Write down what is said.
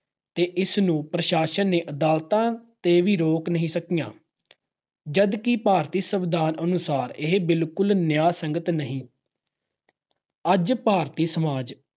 ਤੇ ਇਸ ਨੂੰ ਪ੍ਰਸ਼ਾਸਨ ਤੇ ਅਦਾਲਤਾਂ ਵੀ ਰੋਕ ਨਹੀਂ ਸਕੀਆਂ। ਜਦਕਿ ਭਾਰਤੀ ਸੰਵਿਧਾਨ ਅਨੁਸਾਰ ਇਹ ਬਿਲਕੁਲ ਵੀ ਨਿਆਂਸੰਗਤ ਨਹੀਂ। ਅੱਜ ਭਾਰਤੀ ਸਮਾਜ